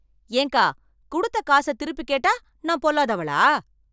ஏன்க்கா, குடுத்த காசத் திருப்பி கேட்டா நான் பொல்லாதவளா?